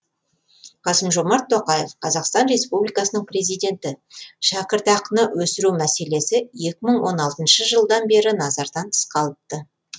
қасым жомарт тоқаев қазақстан республикасының президенті шәкіртақыны өсіру мәселесі екі мың он алтыншы жылдан бері назардан тыс қалыпты